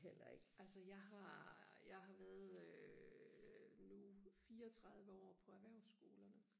altså jeg har jeg har været øh nu fireogtredive år på erhvervsskolerne